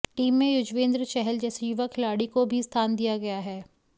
team में युजवेंद्र चहल जैसे युवा खिलाड़ी को भी स्थान दिया गया है